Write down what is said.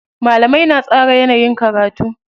Malamai na tsara yanayin karatu.